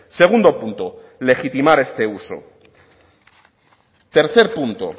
segundo punto legitimar este uso tercer punto